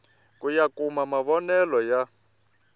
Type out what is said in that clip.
ku ya kuma mavonele ya